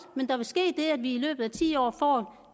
at vi i løbet af ti år får